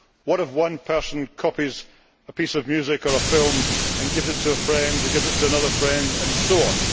What if one person copies a piece of music or a film and gives it to a friend, who gives it to another friend, and so on.